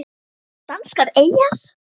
Danskar eyjar